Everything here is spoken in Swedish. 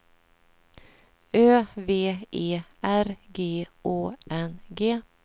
Ö V E R G Å N G